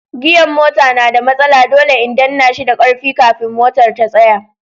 gia'n mota na da matsala, dole in danna shi da karfi kafin motar ta tsaya.